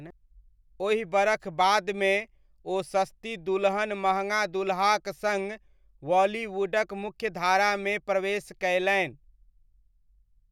ओहि बरख बादमे, ओ 'सस्ती दुल्हन महँगा दुल्हा'क सङ्ग बॉलीवुडक मुख्यधारामे प्रवेश कयलनि।